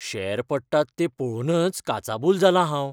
Share पडटात तें पळोवनच काचाबूल जालां हांव.